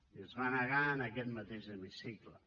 i es va negar en aquest mateix hemicicle